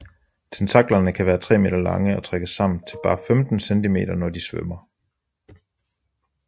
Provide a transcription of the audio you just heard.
Tentaklerne kan være tre meter lange og trækkes sammen til bare 15 cm når de svømmer